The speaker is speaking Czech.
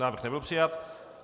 Návrh nebyl přijat.